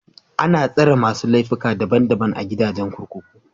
Ana tsare masu laifuka daban daban a gidajen kurkuku.